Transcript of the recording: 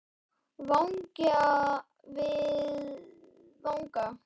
Vangi við vanga.